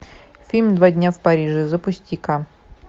фильм два дня в париже запусти ка